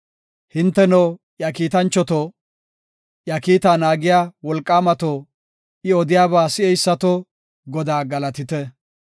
Hinteno, iya kiitanchato, iya kiita naagiya wolqaamato, I odiyaba si7eysato, Godaa galatite!